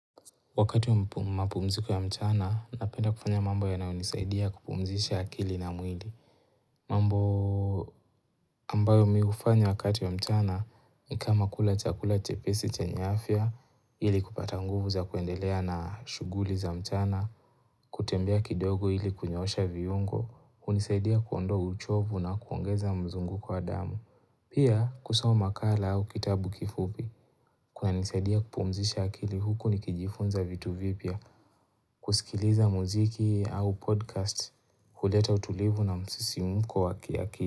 Wakati wa mapumziko ya mchana, napenda kufanya mambo yanayonisaidia kupumzisha akili na mwili. Mambo ambayo mi hufanya wakati wa mchana, ni kama kula chakula chepesi chenye afya, ili kupata nguvu za kuendelea na shughuli za mchana, kutembea kidogo ili kunyoosha viungo, kunisaidia kuondoa uchovu na kuongeza mzunguko wa damu. Pia, kusoms makala au kitabu kifupi, kunanisaidia kupumzisha akili huku nikijifunza vitu vipya, kusikiliza muziki au podcast huleta utulivu na msisimko wa kiakili.